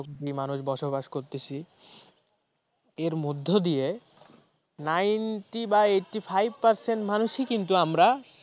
কোটি মানুষ বসবাস করতেছি এর মধ্য দিয়ে ninety বা eighty-five percent মানুষই কিন্তু আমরা